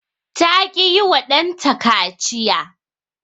ta ki yiwa ɗanta kaciya